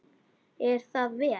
Er það vel!